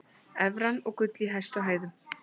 Evran og gull í hæstu hæðum